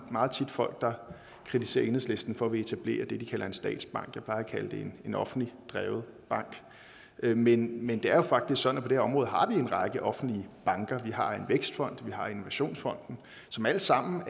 meget tit folk der kritiserer enhedslisten for at ville etablere det de kalder en statsbank jeg plejer at kalde det en offentligt drevet bank men men det er jo faktisk sådan at vi område har en række offentlige banker har en vækstfond har innovationsfonden som alle sammen